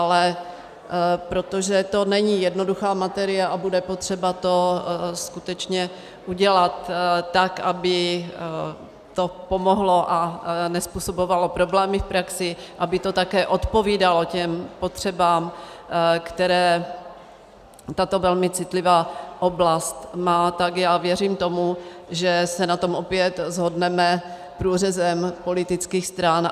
Ale protože to není jednoduchá materie a bude potřeba to skutečně udělat, tak aby to pomohlo a nezpůsobovalo problémy v praxi, aby to také odpovídalo těm potřebám, které tato velmi citlivá oblast má, tak já věřím tomu, že se na to opět shodneme průřezem politických stran.